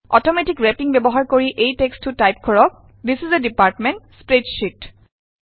automatic wrapping ব্যৱহাৰ কৰি এই টেক্সটটো টাইপ কৰক this is a department spreadsheet